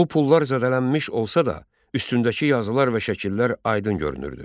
Bu pullar zədələmiş olsa da, üstündəki yazılar və şəkillər aydın görünürdü.